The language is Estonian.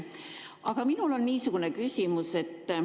Minul on niisugune küsimus.